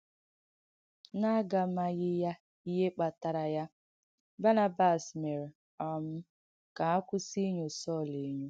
N’àgàmàghīyà ihe kpàtàrā ya, Bànàbàs mèrē um ka ha kwùsì ìnyọ̀ Sọl Sọl ènyọ̀.